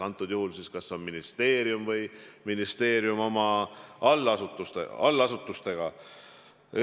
Antud juhul on see ministeerium või selle allasutused.